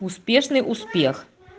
успешный успех